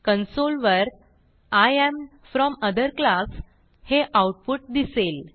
console वर I am from other class हे output दिसेल